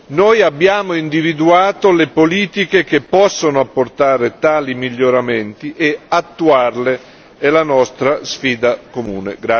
Noi abbiamo individuato le politiche che possono apportare tali miglioramenti e attuarle è la nostra sfida comune.